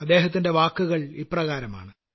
അദ്ദേഹത്തിന്റെ വാക്കുകൾ ഇപ്രകാരമാണ്